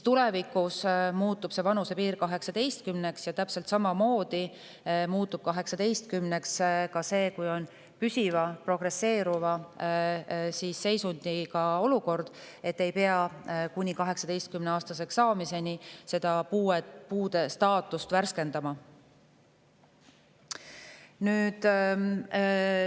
Tulevikus on see vanusepiir 18 ja täpselt samamoodi muutub see, et kui on püsiv progresseeruv seisund, siis ei pea kuni 18-aastaseks saamiseni puude staatust värskendama.